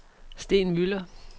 Steen Müller